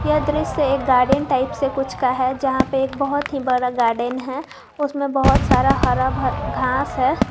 यह दृश्य एक गार्डन टाइप से कुछ का है जहां पे एक बहुत ही बड़ा गार्डन है उसमे बहुत सारे हरा बरा घास है।